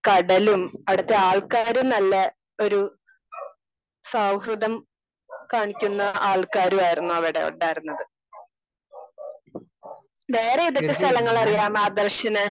Speaker 2 കടലും അവിടത്തെ ആൾക്കാരും നല്ല ഒരു സൗഹൃദം കാണിക്കുന്ന ആൾക്കാരും ആയിരുന്നു അവിടെ ഉണ്ടിയിരുന്നത്. വേറെ ഏതൊക്കെ സ്ഥലങ്ങൾ അറിയാം ആദർശിന്?